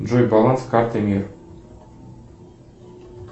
джой баланс карты мир